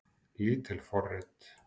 Lítil forrit